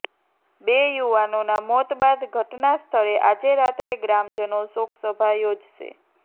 બે યુવાનોના મોત બાદ ઘટના સ્થળે આજે રાત્રે ગ્રામજનો શોકસભા યોજશે